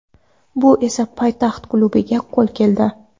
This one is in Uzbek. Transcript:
Bu esa poytaxt klubiga qo‘l keldi.